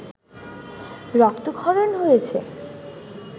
রক্তক্ষরণ হয়েছে